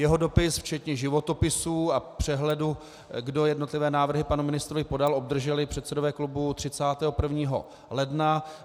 Jeho dopis včetně životopisů a přehledu, kdo jednotlivé návrhy panu ministrovi podal, obdrželi předsedové klubů 31. ledna.